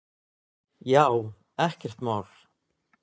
Já, ekkert mál!